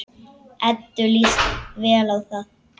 Eddu líst vel á þá.